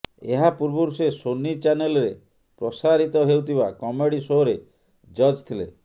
ଏହା ପୂର୍ବରୁ ସେ ସୋନୀ ଚ୍ୟାନେଲରେ ପ୍ରସାରିତ ହେଉଥିବା କମେଡି ସୋରେ ଜଜ୍ ଥିଲେ